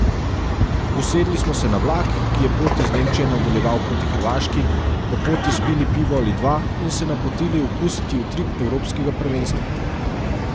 Usedli smo se na vlak, ki je pot iz Nemčije nadaljeval proti Hrvaški, po poti spili pivo ali dva, in se napotili okusiti utrip evropskega prvenstva.